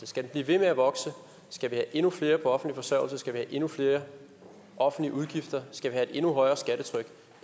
skal den blive ved med at vokse skal vi have endnu flere på offentlig forsørgelse skal vi have endnu flere offentlige udgifter skal vi have et endnu højere skattetryk